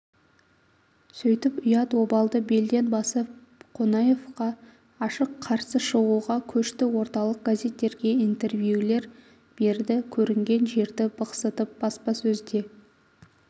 сөйтіп ұят-обалды белден басып қонаевқа ашық қарсы шығуға көшті орталық газеттерге интервьюлер берді көрінген жерді бықсытып баспасөзде